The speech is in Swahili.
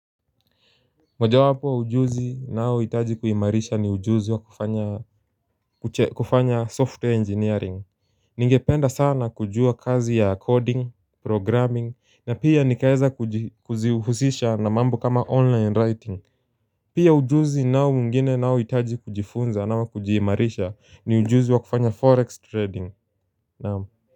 Moja wapo ujuzi nao hitaji kuimarisha ni ujuzi wa kufanya software engineering Ningependa sana kujua kazi ya coding, programming na pia nikaeza kuji kuzihusisha na mambo kama online writing. Pia ujuzi nao mwigine nao hitaji kujifunza nao kujiimarisha ni ujuzi wa kufanya forex trading naam.